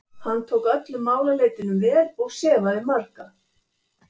Hann tók öllum málaleitunum vel og sefaði marga.